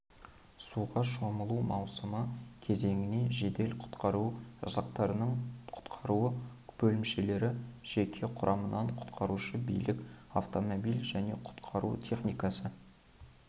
суға шомылу маусымы кезеңіне жедел-құтқару жасақтарының құтқару бөлімшелері жеке құрамынан құтқарушы бірлік автомобиль және құтқару техникасы